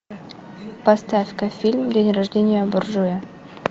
поставь ка фильм день рождения буржуя